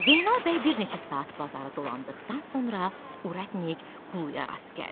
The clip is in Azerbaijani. Zeynal bəy bir neçə saat bazarı dolandıqdan sonra urətnik Quluya rast gəldi.